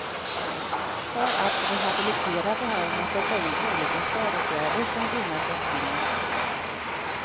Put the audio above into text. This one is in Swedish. För att rehabilitera behöver man sätta in olika stödåtgärder som gynnar brottslingen. punkt